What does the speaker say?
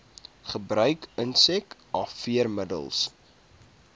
gebruik insek afweermiddels